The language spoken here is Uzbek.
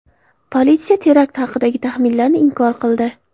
Politsiya terakt haqidagi taxminlarni inkor qildi.